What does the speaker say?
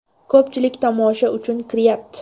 Ko‘pchilik tomosha uchun kiryapti.